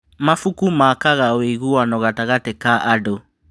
Mabuku makaga ũiguano gatagatĩ ka andũ.